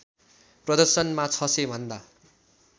प्रदर्शनमा ६०० भन्दा